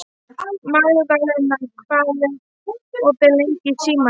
Magðalena, hvað er opið lengi í Símanum?